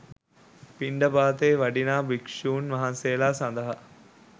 පින්ඩපාතේ වඩිනා භික්‍ෂූන් වහන්සේලා සඳහා